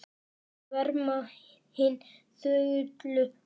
Þau verma hin þögulu orð.